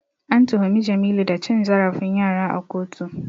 An tuhumi Jamilu da cin zarafin yara a kotu.